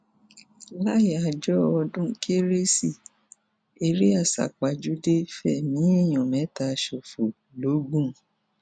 làyààjọ ọdún kérésì eré àsápajúdé fẹmí èèyàn mẹta ṣòfò logun